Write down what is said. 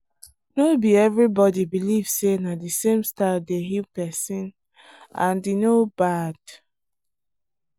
no be everybody believe say na the same style dey heal person and e no bad.